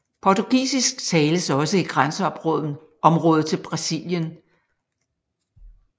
Portugisisk tales også i grænseområdet til Brasilien